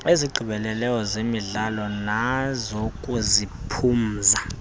ezigqibeleleyo zezemidlalo nezokuziphumza